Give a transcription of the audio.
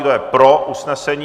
Kdo je pro usnesení?